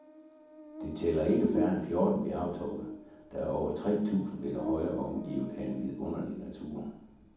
Det tæller ikke færre end fjorten bjergtoppe, der er over tre tusind meter høje og omgivet af en vidunderlig natur.